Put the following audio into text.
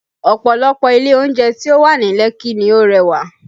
Ọ̀pọ̀lọpọ̀ ilé oúnjẹ tí ó wà ní Lekki ni ó rẹwà